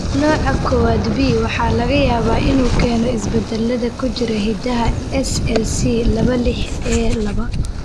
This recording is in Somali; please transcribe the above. Nooca kowaad B waxaa laga yaabaa inuu keeno isbeddellada ku jira hiddaha SLC laba lix A laba.